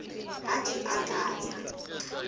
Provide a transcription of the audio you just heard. ha di a ka tsa